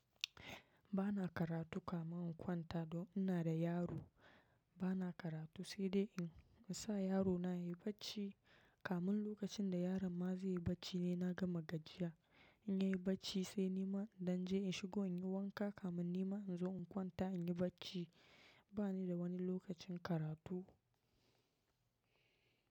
Ba na karatu kamin in kwanta, don ina da yaro. Ba na karatu sai dai in sa yarona yayi bacci. Kamun lokacin da yaron ma zai yi bacci ne na gama gajiya. In yayi bacci sai nima dan je in shigo in yi wanka kaman nima in zo in kwanta in yi bacci. Ba ni da wani lokacin karatu.